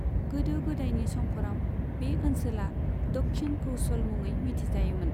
गोदो गोदायनि समफोराव बे ओनसोला दक्षिण कौसल मुङै मिथिजायोमोन।